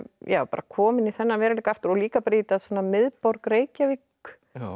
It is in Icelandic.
komin í þennan veruleika aftur og líka miðborg Reykjavík